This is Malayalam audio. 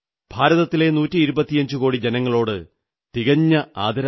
ഭാരതത്തിലെ നൂറ്റി ഇരുപത്തിയഞ്ചുകോടി ജനങ്ങളോട് തികഞ്ഞ ആദരവാണ്